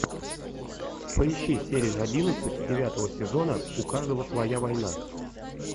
поищи серию одиннадцать девятого сезона у каждого своя война